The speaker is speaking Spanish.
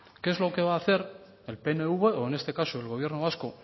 qué es lo que va a hacer el pnv o en este caso el gobierno vasco